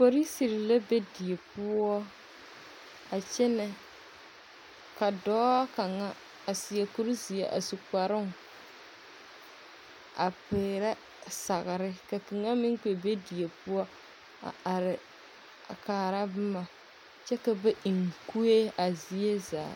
Polisiri la be die poͻ a kyԑnԑ. ka dͻͻ kaŋa a seԑ kuri zeԑ a su kparoŋ a peerԑ sagere, ka kaŋa meŋ kpԑ die poͻ a are a kaara boma kyԑ ka bae ŋ kue a zie zaa.